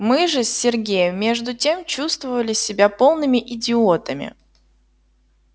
мы же с сергеем между тем чувствовали себя полными идиотами